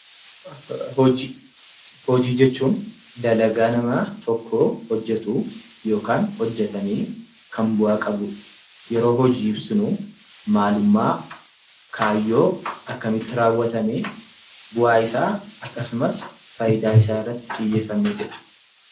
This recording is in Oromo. Hojii: Hojii jechuun dalagaa namaa tokkoo hojjetuu yokaan hojjetamee kan bu'aa qabu. Yeroo hojii ibsinuu maalummaa, kaayyoo, akkamitti raawwatamee, bu'aa isaa akkasumas faayidaa irratti isaa xiyyeeffanneetudha.